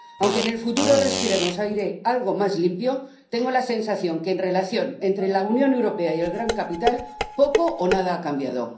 Aunque en el futuro respiremos aire algo más limpio, tengo la sensación de que, en la relación entre la Unión Europea y el gran capital, poco o nada ha cambiado.